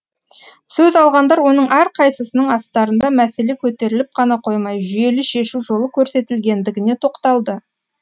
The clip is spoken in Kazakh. сөз алғандар оның әрқайсысының астарында мәселе көтеріліп қана қоймай жүйелі шешу жолы көрсетілгендігіне тоқталды